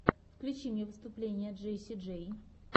включи мне выступление джесси джей